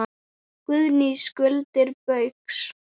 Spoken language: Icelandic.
Guðný: Skuldir Baugs?